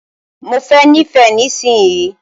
Mo fẹ n'ifẹ nisinyii.